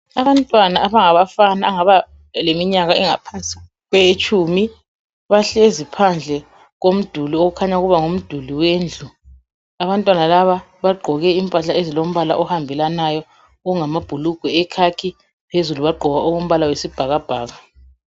Abantwana abangabafana abangaba leminyaka engaphansi kwetshumi bahlezi phandle komduli okhanya kuba ngumduli wendlu. Abantwana laba bagqoke impahla ezilo mbala ohambelanayo okungama bhulugwe ekhakhi phezulu bagqoka okombala owesibhakabhaka.